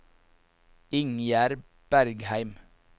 Ingjerd Bergheim